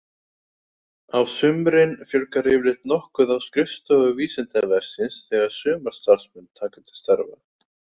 Á sumrin fjölgar yfirleitt nokkuð á skrifstofu Vísindavefsins þegar sumarstarfsmenn taka til starfa.